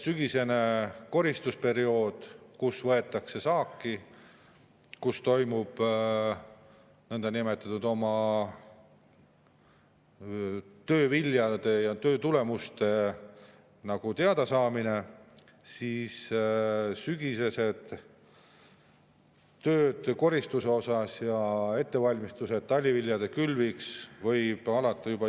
Sügisene koristusperiood, kui võetakse saaki, kui toimub nagu oma töö viljade ja töö tulemuste teadasaamine, ja ettevalmistused taliviljade külviks võivad alata juba …